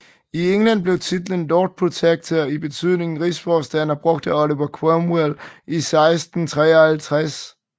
I England blev titlen Lord Protector i betydningen Rigsforstander brugt af Oliver Cromwell i 1653